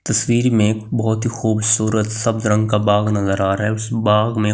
तस्वीर में बहुत ही खूबसूरत सप्त रंग का बाग नजर आ रहा है उस बाग में खूबसूरत।